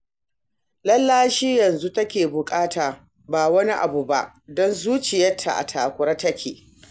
Lallashi yanzu take buƙata ba wani abu ba, don zuciyarta a takure take